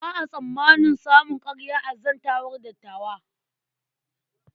Ba a tsammanin samun ƙarya a zantawar dattawa.